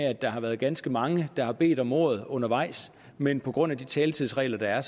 at der har været ganske mange der har bedt om ordet undervejs men på grund af de taletidsregler der er